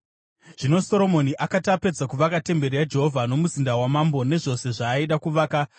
Zvino Soromoni akati apedza kuvaka temberi yaJehovha nomuzinda wamambo nezvose zvaaida kuvaka,